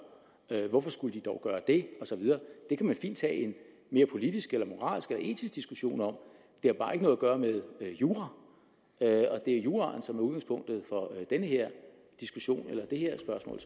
det at hvorfor skulle de dog gøre det og så videre det kan man fint tage en mere politisk eller moralsk eller etisk diskussion om det har bare ikke noget at gøre med jura og det er juraen som er udgangspunktet for den her diskussion eller det her spørgsmål